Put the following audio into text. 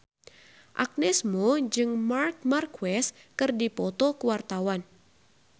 Agnes Mo jeung Marc Marquez keur dipoto ku wartawan